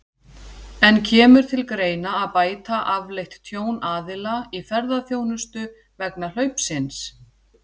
En kemur til greina að bæta afleitt tjón aðila í ferðaþjónustu vegna hlaupsins?